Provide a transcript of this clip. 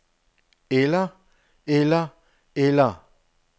eller eller eller